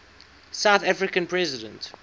south african president